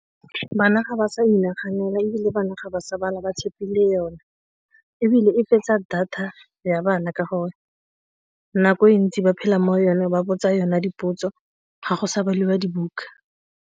Bana ga ba sa inaganela ebile bana ga ba sa bala ba tshepile yona ebile e fetsa data ya bana ka gore nako e ntsi ba phela mo yone ba botsa yona dipotso ga go sa baliwa dibuka.